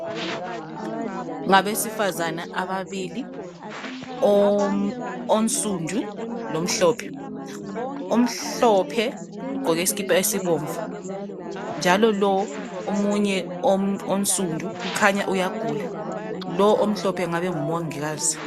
Ngabesifazane ababili omsundu lomhlophe omhlophe ugqoke isikhipa esimhlophe njalo lowo omsundu uyagula kukhanya lowo omhlophe ngumongikazi.